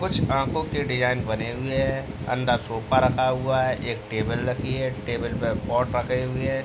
कुछ आँखों के डिजाइन बने हुए हैं। अंदर सोफे रखा हुआ है। एक टेबल रखी है। टेबल पर पॉट रखे हुए हैं।